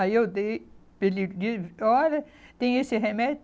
Aí eu dei, ele disse, olha, tem esse remédio?